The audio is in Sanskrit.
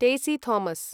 टेसी थोमस्